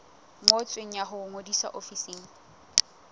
ngotsweng ya ho ngodisa ofising